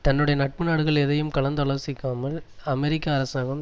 தன்னுடைய நட்பு நாடுகள் எதையும் கலந்து ஆலோசிக்காமல் அமெரிக்க அரசாங்கம்